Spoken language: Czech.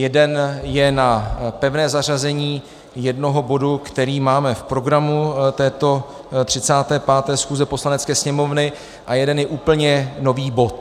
Jeden je na pevné zařazení jednoho bodu, který máme v programu této 35. schůze Poslanecké sněmovny, a jeden je úplně nový bod.